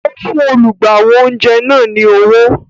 O fún olùgbàwò oúnjẹ náà ni owó